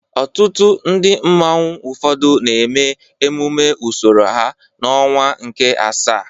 Òtù ndị mmanwu ụfọdụ na-eme emume usoro ha n'ọnwa nke asaa.